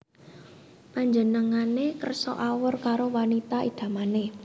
Panjenengane kersa awor karo wanita idamané